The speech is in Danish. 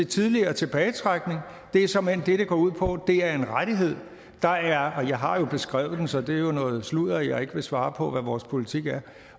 tidligere tilbagetrækning det er såmænd det det går ud på det er en rettighed jeg har jo beskrevet den så det er noget sludder at jeg ikke vil svare på hvad vores politik er